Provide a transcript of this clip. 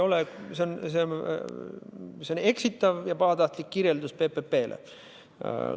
Teie öeldu on eksitav ja pahatahtlik PPP kirjeldus.